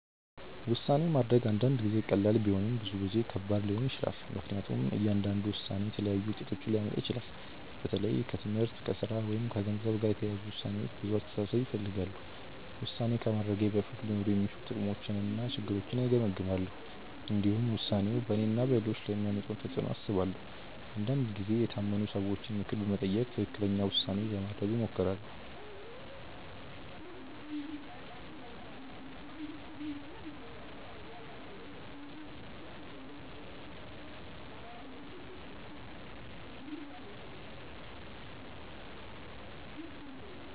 ውሳኔ ማድረግ አንዳንድ ጊዜ ቀላል ቢሆንም ብዙ ጊዜ ከባድ ሊሆን ይችላል። ምክንያቱም እያንዳንዱ ውሳኔ የተለያዩ ውጤቶችን ሊያመጣ ይችላል። በተለይ ከትምህርት፣ ከሥራ ወይም ከገንዘብ ጋር የተያያዙ ውሳኔዎች ብዙ አስተሳሰብ ይፈልጋሉ። ውሳኔ ከማድረጌ በፊት ሊኖሩ የሚችሉ ጥቅሞችንና ችግሮችን እገመግማለሁ። እንዲሁም ውሳኔው በእኔና በሌሎች ላይ የሚያመጣውን ተፅዕኖ አስባለሁ። አንዳንድ ጊዜ የታመኑ ሰዎችን ምክር በመጠየቅ ትክክለኛ ውሳኔ ለማድረግ እሞክራለሁ.